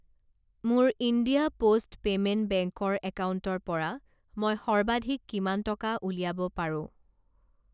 মোৰ India Post Payment Bank ৰ একাউণ্টৰ পৰা মই সৰ্বাধিক কিমান টকা উলিয়াব পাৰো?